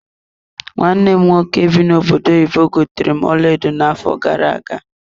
Nwanne m nwoke bi n'obodo oyibo gotere m ọlaedo na-afo gara-aga.